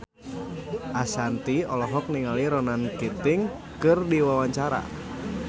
Ashanti olohok ningali Ronan Keating keur diwawancara